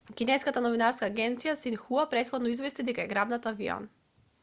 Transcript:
кинеската новинска агенција синхуа претходно извести дека е грабнат авион